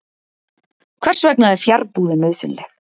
Hvers vegna er fjarbúðin nauðsynleg?